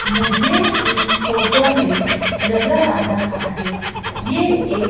मुझे इस फोटो में नजर आ रहा है ये एक--